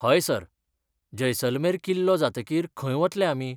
हय, सर, जैसलमेर किल्लो जातकीर खंय वतले आमी?